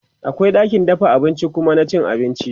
akwai ɗakin dafa abinci da Kuma na cin abinci